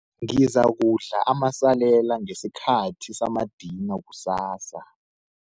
Ngizakudla amasalela ngesikhathi samadina kusasa.